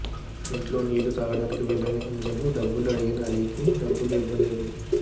ఇంట్లో నీళ్లు తాగటానికి వెళ్లిన హిమజను డబ్బులు అడిగిన అలీకి డబ్బులు ఇవ్వలేదు